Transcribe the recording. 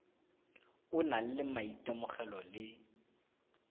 o nang le maitemogelo le